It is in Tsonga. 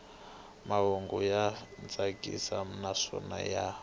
mahungu ya tsakisa naswona ya